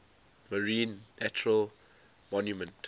marine national monument